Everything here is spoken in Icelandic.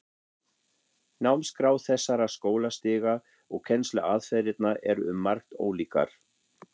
Námskrá þessara skólastiga og kennsluaðferðirnar eru um margt ólíkar.